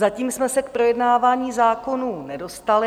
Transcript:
Zatím jsme se k projednávání zákonů nedostali.